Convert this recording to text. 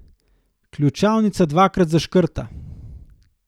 Ključavnica dvakrat zaškrta.